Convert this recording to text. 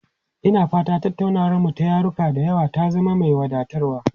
Ina fata tattaunawarmu ta yaruka da yawa ta zama mai wadatarwa.